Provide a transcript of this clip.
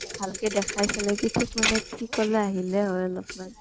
ভাল কে দেখাই ফালে কি ঠিক মানে কি ঠিকলৈ আহিলেই হয় অলপ্মান ।